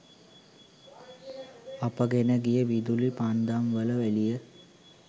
අපගෙන ගිය විදුලි පන්දම් වල එලිය